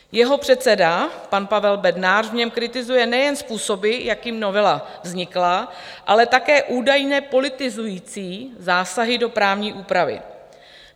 Jeho předseda, pan Pavel Bednář, v něm kritizuje nejen způsoby, jakými novela vznikla, ale také údajné politizující zásahy do právní úpravy.